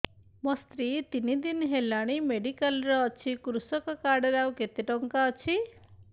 ମୋ ସ୍ତ୍ରୀ ତିନି ଦିନ ହେଲାଣି ମେଡିକାଲ ରେ ଅଛି କୃଷକ କାର୍ଡ ରେ ଆଉ କେତେ ଟଙ୍କା ଅଛି